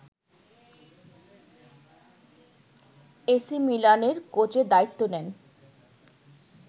এসিমিলানের কোচের দায়িত্ব নেন